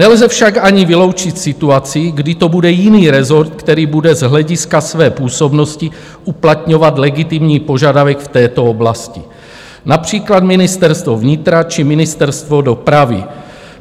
Nelze však ani vyloučit situaci, kdy to bude jiný rezort, který bude z hlediska své působnosti uplatňovat legitimní požadavek v této oblasti, například Ministerstvo vnitra či Ministerstvo dopravy.